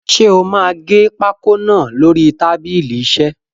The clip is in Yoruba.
Ṣé o máa gé pákó náà lórí tábìlì isẹ́?